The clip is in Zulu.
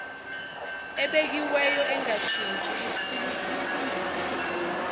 ebekiweyo engashintshi iphungulwe